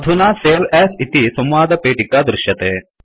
अधुना सवे अस् इति संवादपेटिका दृश्यते